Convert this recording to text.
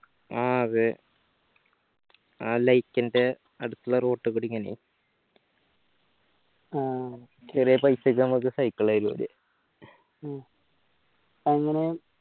ആ അതെ ആ light ഒക്കെ അടുത്തുള്ള road ക്ക് ഒടിക്കുമ്പോ ആ ചെറിയ paisa ക്ക് നമുക്ക് cycle തരും അവർ